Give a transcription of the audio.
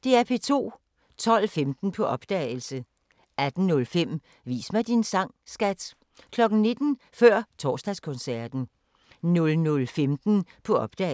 12:15: På opdagelse 18:05: Vis mig din sang, skat! 19:00: Før Torsdagskoncerten 00:15: På opdagelse